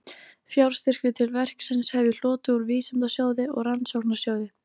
Fjárstyrki til verksins hef ég hlotið úr Vísindasjóði og Rannsóknarsjóði